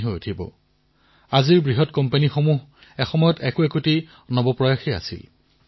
আৰু আপোনালোকে নাপাহৰিব যে আজিৰ বিশ্বৰ যিমানবোৰ ডাঙৰ ডাঙৰ উদ্যোগ দেখা পাইছে সেয়াও এটা সময়ত ষ্টাৰ্টআপেই আছিল